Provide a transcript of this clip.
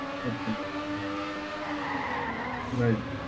અચ્છા. right.